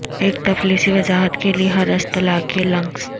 ایک تفصیلی وضاحت کے لئے ہر اصطلاح کے لنکس